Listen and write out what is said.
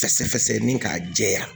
Fɛsɛfɛsɛ ni k'a jɛya